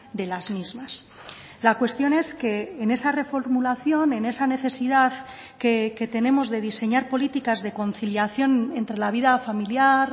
de las mismas la cuestión es que en esa reformulación en esa necesidad que tenemos de diseñar políticas de conciliación entre la vida familiar